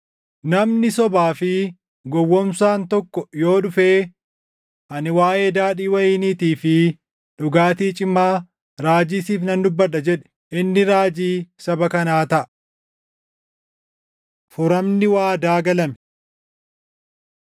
Namni sobaa fi gowwoomsaan tokko yoo dhufee, ‘Ani waaʼee daadhii wayiniitii fi dhugaatii cimaa raajii siif nan dubbadha’ jedhe; inni raajii saba kanaa taʼa! Furamni Waadaa Galame